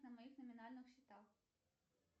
на моих номинальных счетах